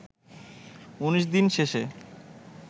১৯ দিন শেষে